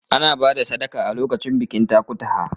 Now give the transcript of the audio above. Ana ba da sadaka a lokacin bikin takutaha.